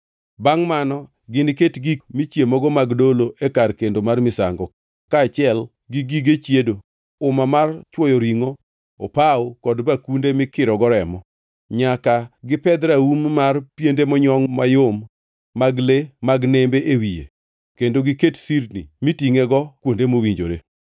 Bangʼ mano giniket gik michiemogo mag dolo e kar kendo mar misango, kaachiel gi gige chiedo, uma mar chwoyo ringʼo, opawo kod bakunde mikirogo remo. Nyaka gipedh raum mar piende monyongʼ mayom mag le mag nembe e wiye kendo giket sirni mitingʼego kuonde mowinjore.